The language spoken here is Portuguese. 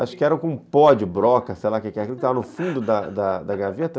Acho que era com pó de broca, sei lá o que é. Estava no fundo da da gaveta.